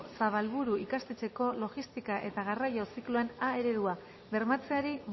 zabalburu ikastetxeko logistika eta garraioa zikloan a eredua bermatzeari